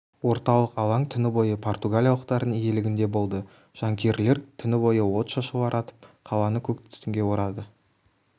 орталық алаң түні бойы португалиялықтардың иелігінде болды жанкүйерлер түні бойы отшашулар атып қаланы көк түтінге орады